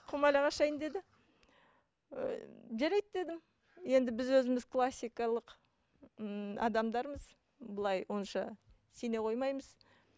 құмалақ ашайын деді ы жарайды дедім енді біз өзіміз классикалық ммм адамдармыз былай онша сене қоймаймыз